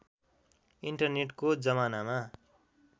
इन्टरनेटको जमानामा